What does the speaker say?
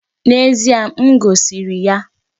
N'ezie, m goziri ya.